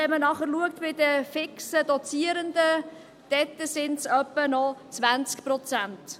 Wenn man nachher bei den fix Dozierenden schaut, sind es noch ungefähr 20 Prozent.